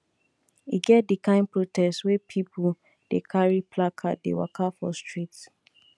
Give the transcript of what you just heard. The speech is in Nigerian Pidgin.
e get di kain protest wey pipo dey carry placard dey waka for street